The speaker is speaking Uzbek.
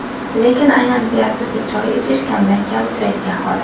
Lekin aynan yalpizli choy ichish kamdan kam uchraydigan holat.